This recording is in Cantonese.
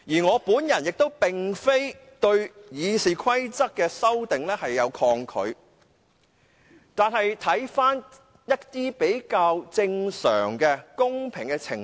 我亦並非抗拒對《議事規則》進行修訂，但是，我們應了解比較正常和公平的程序。